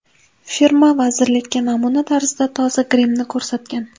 Firma vazirlikka namuna tarzida toza grimni ko‘rsatgan.